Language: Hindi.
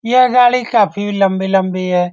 यह गाड़ी काफी लम्बी-लम्बी है।